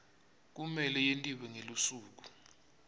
kumele yentiwe ngelusuku